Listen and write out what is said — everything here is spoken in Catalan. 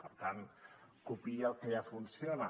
per tant copiï el que ja funciona